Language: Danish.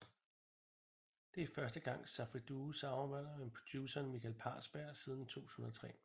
Det er første gang Safri Duo samarbejder med produceren Michael Parsberg siden 2003